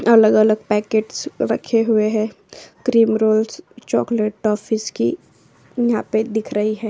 अलग अलग पॅकेट्स रखे हुए है क्रीम रोल्स चोकलेट टोफिस की यहाँ पे दिख रही है।